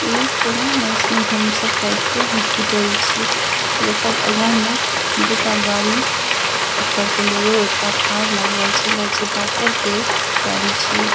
इ कोनो nursing home सब टाइप के हॉस्पिटल छिये जेकर आगा में दूटा गाड़ी एकटा बोलोरो एकटा कार लागल छै लागय छै डाक्टर के गाड़ी छिये।